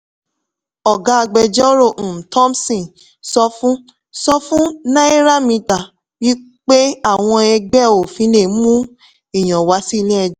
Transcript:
ọ̀gá agbẹjọ́rò um thompson sọ fún sọ fún náíràmítà pé àwọn ẹgbẹ́ òfin lè mú ìyàn wá sí ilé ẹjọ́.